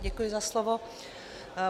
Děkuji za slovo.